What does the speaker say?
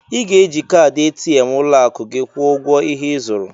I ga-eji kaadị ATM ụlọakụ gị kwụọ ụgwọ ihe ị zụrụ